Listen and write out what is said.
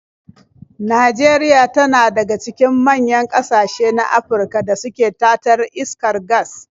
Najeria tana daga cikin manyan ƙasashe na Afirka da suke tatar iskar gas.